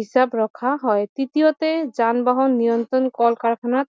হিচাপ ৰখা হয় তৃতীয়তে যান বাহন নিয়ন্ত্ৰণ কল কাৰখানাত